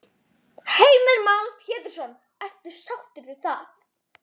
Heimir Már Pétursson: Ertu sáttur við það?